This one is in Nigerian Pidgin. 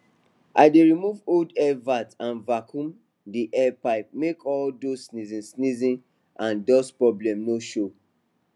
i dey remove old air vent and vacuum the air pipe make all those sneezing sneezing and dust problem no show